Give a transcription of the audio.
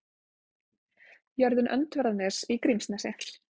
Jörðin Öndverðarnes í Grímsnesi.